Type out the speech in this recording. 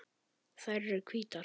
Þær eru hvítar.